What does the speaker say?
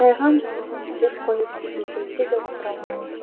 қисайған жаулығын түзеп қойып үйге келсе де отыра алмайды